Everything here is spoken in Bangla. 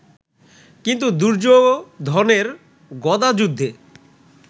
কিন্তু দুর্যোধনের গদাযুদ্ধে